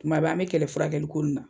Tuma bɛɛ an be kɛlɛ furakɛli ko nunnu na.